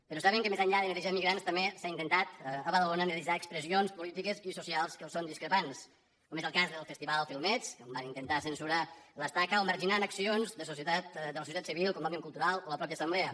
però saben que més enllà de netejar immigrants també s’ha intentat a badalona netejar expressions polítiques i socials que els són discrepants com és el cas del festival filmets on van intentar censurar l’estaca o marginant accions de la societat civil com òmnium cultural o la mateixa assemblea